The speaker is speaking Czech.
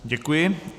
Děkuji.